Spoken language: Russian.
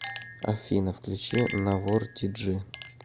афина включи навор ти джи